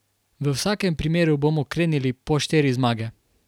V vsakem primeru bomo krenili po štiri zmage.